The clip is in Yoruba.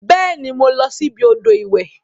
Beeni, mo losi ibi odo iwe.